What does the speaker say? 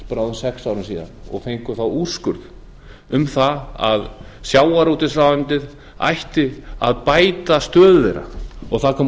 fyrir bráðum sex árum síðan og fengu þá úrskurð um það að sjávarútvegsráðuneytið ætti að bæta stöðu þeirra og það kom